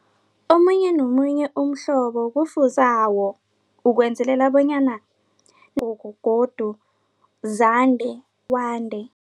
Omunye nomunye umhlobo kufuze ukwenzelela bonyana godu zande kwande.